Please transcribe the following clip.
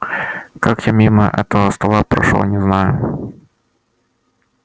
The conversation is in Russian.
как я мимо этого стола прошёл не знаю